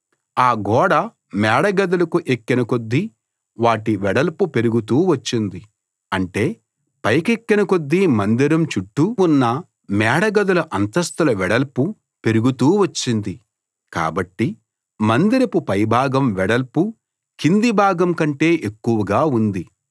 ఆ గోడ మేడగదులకు ఎక్కిన కొద్దీ వాటి వెడల్పు పెరుగుతూ వచ్చింది అంటే పైకెక్కిన కొద్దీ మందిరం చుట్టూ ఉన్న మేడగదుల అంతస్థుల వెడల్పు పెరుగుతూ వచ్చింది కాబట్టి మందిరపు పైభాగం వెడల్పు కింది భాగం కంటే ఎక్కువగా ఉంది